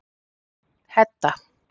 Hedda